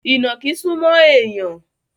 Ìnàkí súmọ́ èèyàn